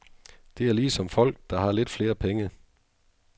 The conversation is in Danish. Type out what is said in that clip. Det er ligesom folk, der har lidt flere penge.